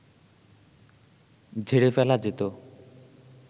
ঝেড়ে ফেলা যেত